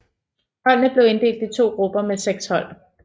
Holdene blev inddelt i to grupper med seks hold